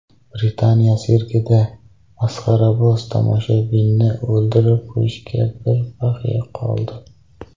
Britaniya sirkida masxaraboz tomoshabinni o‘ldirib qo‘yishiga bir baxya qoldi .